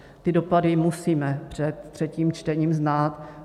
Ty dopady musíme před třetím čtením znát.